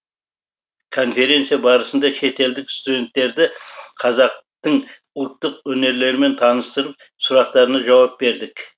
конференция барысында шетелдік студенттерді қазақтың ұлттық өнерлерімен таныстырып сұрақтарына жауап бердік